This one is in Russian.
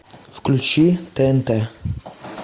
включи тнт